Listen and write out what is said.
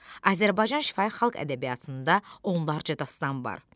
Azərbaycan şifahi xalq ədəbiyyatında onlarca dastan var.